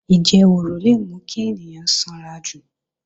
Ìjẹwùrù le mú kí ènìyàn sanrajù